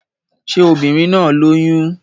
Ṣé obìnrin náà lóyún?